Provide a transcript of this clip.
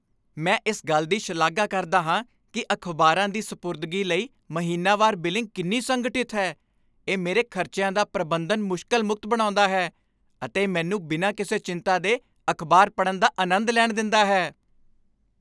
ਮੈਂ ਇਸ ਗੱਲ ਦੀ ਸ਼ਲਾਘਾ ਕਰਦਾ ਹਾਂ ਕੀ ਅਖ਼ਬਾਰਾਂ ਦੀ ਸਪੁਰਦਗੀ ਲਈ ਮਹੀਨਾਵਾਰ ਬਿਲਿੰਗ ਕਿੰਨੀ ਸੰਗਠਿਤ ਹੈ ਇਹ ਮੇਰੇ ਖ਼ਰਚਿਆਂ ਦਾ ਪ੍ਰਬੰਧਨ ਮੁਸ਼ਕਲ ਮੁਕਤ ਬਣਾਉਂਦਾ ਹੈ ਅਤੇ ਮੈਨੂੰ ਬਿਨਾਂ ਕਿਸੇ ਚਿੰਤਾ ਦੇ ਅਖ਼ਬਾਰ ਪੜ੍ਹਣ ਦਾ ਅਨੰਦ ਲੈਣ ਦਿੰਦਾ ਹੈ